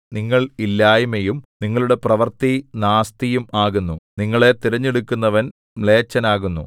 നിങ്ങൾ ഇല്ലായ്മയും നിങ്ങളുടെ പ്രവൃത്തി നാസ്തിയും ആകുന്നു നിങ്ങളെ തിരഞ്ഞെടുക്കുന്നവൻ മ്ലേച്ഛനാകുന്നു